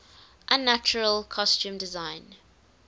unnatural costume design